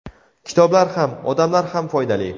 Kitoblar ham, odamlar ham foydali.